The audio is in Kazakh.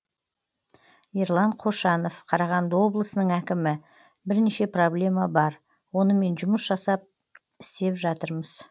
ерлан қошанов қарағанды облысының әкімі бірнеше проблема бар онымен жұмыс жасап істеп жатырмыз